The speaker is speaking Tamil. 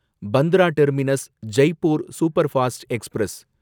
Bandra terminus Jaipur superfast express